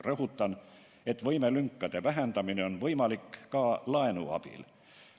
Rõhutan, et võimelünkade vähendamine on võimalik ka laenu abil.